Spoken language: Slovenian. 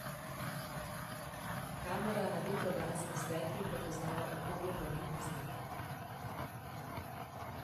Kamera na vetrobranskem steklu prepoznava okrogle prometne znake.